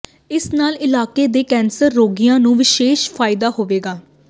ਇਸ ਨਾਲ ਇਲਾਕੇ ਦੇ ਕੈਂਸਰ ਰੋਗੀਆਂ ਨੂੰ ਵਿਸ਼ੇਸ਼ ਫਾਇਦਾ ਹੋਵੇਗਾ